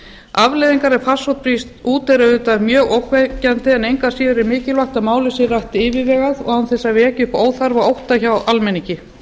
afleiðingar ef farsótt brýst út er auðvitað mjög ógnvekjandi en engu að síður er mikilvægt að málið sé rætt yfirvegað og án þess að vekja upp óþarfa ótta hjá almenningi